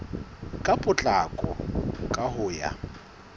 ka potlako ka ho ya